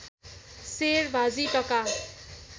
सेर भाजी टका